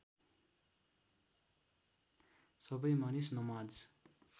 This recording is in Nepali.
सबै मानिस नमाज